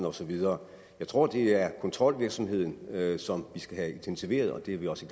og så videre jeg tror det er kontrolvirksomheden som vi skal have intensiveret og det er vi også